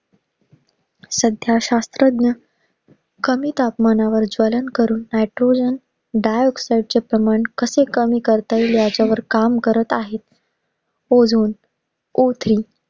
सध्या शास्त्रज्ञ कमी तापमानावर ज्वलन करून petroleum dioxide च प्रमाण कसं कमी करता येईल ह्याच्यावर काम करत आहेत. Ozone O three